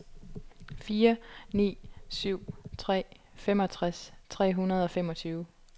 fire ni syv tre femogtres tre hundrede og femogtyve